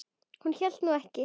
Hún hélt nú ekki.